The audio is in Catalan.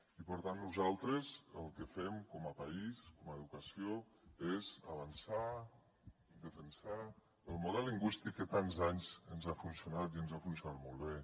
i per tant nosaltres el que fem com a país com a educació és avançar defensar el model lingüístic que tants anys ens ha funcionat i ens ha funcionat molt bé